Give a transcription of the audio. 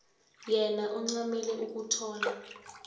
yena ancamele ukuthola